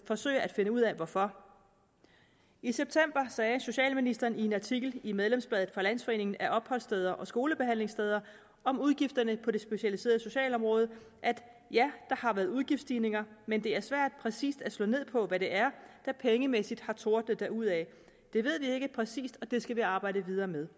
forsøger at finde ud af hvorfor i september sagde socialministeren i en artikel i medlemsbladet fra landsforeningen af opholdssteder botilbud og skolebehandlingstilbud om udgifterne på det specialiserede socialområde ja der har været udgiftsstigninger men det er svært præcist at slå ned på hvad det er der pengemæssigt har tordnet derudad det ved vi ikke præcist og det skal vi nok arbejde videre med